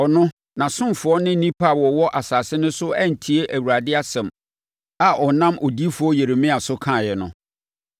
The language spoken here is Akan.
Ɔno, nʼasomfoɔ ne nnipa a wɔwɔ asase no so antie Awurade asɛm a ɔnam odiyifoɔ Yeremia so kaeɛ no.